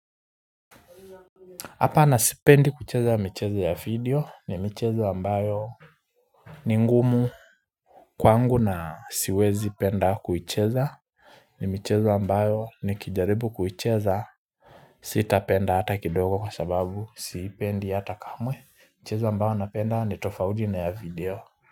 Hapana sipendi kucheza mcheze ya video ni mchezo ambayo ni ngumu kwangu na siwezi penda kucheza ni micheo ambayo ni kijaribu kucheza Sitapenda hata kidogo kwa sababu sipendi hata kamwe mchezo ambayo napenda ni tofaudi na ya video.